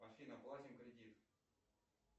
афина платим кредит